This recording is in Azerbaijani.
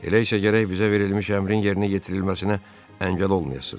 Elə isə gərək bizə verilmiş əmrin yerinə yetirilməsinə əngəl olmayasız.